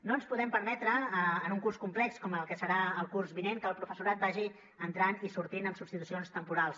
no ens podem permetre en un curs complex com el que serà el curs vinent que el professorat vagi entrant i sortint amb substitucions temporals